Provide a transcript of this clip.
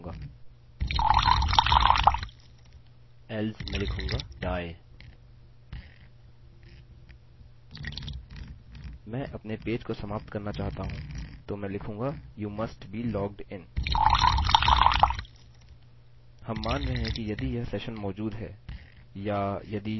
मैं अपने पेज को समाप्त करना चाहता हूँ तो मैं लिखूँगा you must be logged in